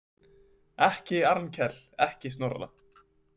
Ekki Arnkel, ekki Snorra.